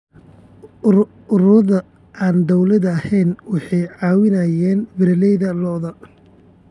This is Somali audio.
Ururada aan dowliga ahayn waxay caawiyaan beeralayda lo'da.